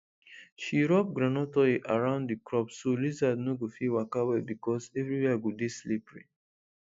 she rub groundnut oil around the crops so lizard no go fit waka well because everywhere go dey slippery